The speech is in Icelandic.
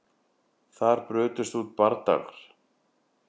Þar brutust út bardagar